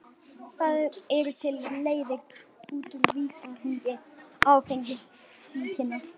Það eru til leiðir út úr vítahring áfengissýkinnar.